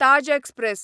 Taj express